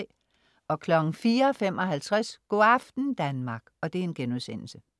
04.55 Go' aften Danmark*